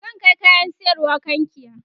zan Kai kayan sayarwa kankia